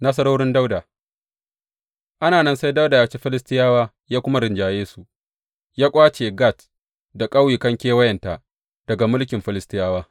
Nasarorin Dawuda Ana nan sai Dawuda ya ci Filistiyawa ya kuma rinjaye su, ya ƙwace Gat da ƙauyukan kewayenta daga mulkin Filistiyawa.